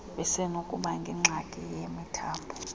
basenokuba nengxaki yemithambo